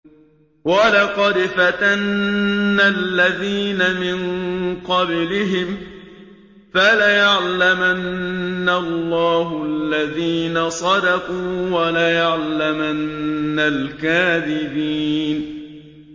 وَلَقَدْ فَتَنَّا الَّذِينَ مِن قَبْلِهِمْ ۖ فَلَيَعْلَمَنَّ اللَّهُ الَّذِينَ صَدَقُوا وَلَيَعْلَمَنَّ الْكَاذِبِينَ